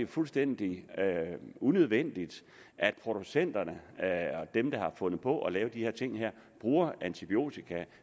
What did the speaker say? fuldstændig unødvendigt at producenterne og dem der har fundet på at lave de her ting bruger antibiotika